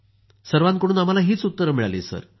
सर्वांकडून आम्हाली हीच उत्तरं मिळाली सर